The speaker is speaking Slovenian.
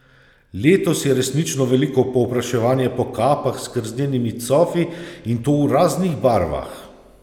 Letos je resnično veliko povpraševanje po kapah z krznenimi cofi in to v raznih barvah.